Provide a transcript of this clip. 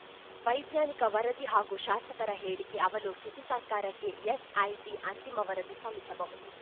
ವೈಜ್ಞಾನಿಕ ವರದಿ ಹಾಗೂ ಶಾಸಕರ ಹೇಳಿಕೆ ಅವಲೋಕಿಸಿ ಸರ್ಕಾರಕ್ಕೆ ಎಸ್‌ಐಟಿ ಅಂತಿಮ ವರದಿ ಸಲ್ಲಿಸಬಹದು